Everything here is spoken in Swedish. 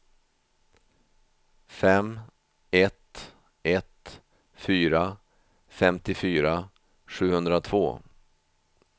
fem ett ett fyra femtiofyra sjuhundratvå